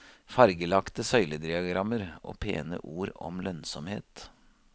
Fargelagte søylediagrammer og pene ord om lønnsomhet.